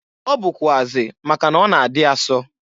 Ọ bụkwụazị maka na ọ na-adị asọ.